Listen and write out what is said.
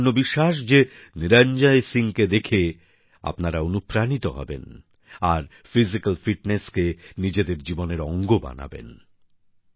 আমার সম্পূর্ণ বিশ্বাস যে নিরঞ্জয় সিংকে দেখে আপনারা অনুপ্রাণিত হবেন আর শারীরিক ফিটনেসকে নিজেদের জীবনের অঙ্গ করে তুলবেন